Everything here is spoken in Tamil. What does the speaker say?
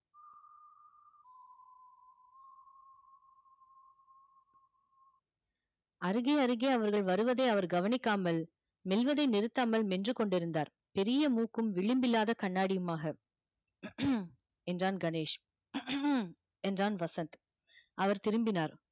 அருகே அருகே அவர்கள் வருவதை அவர் கவனிக்காமல் மெல்வதை நிறுத்தாமல் மென்று கொண்டிருந்தார் பெரிய மூக்கும் விளிம்பில்லாத கண்ணாடியுமாக என்றான் கணேஷ் என்றான் வசந்த் அவர் திரும்பினார்